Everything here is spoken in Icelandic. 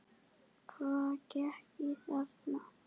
Hvað gekk á þarna?